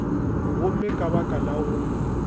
gomme ka baka la go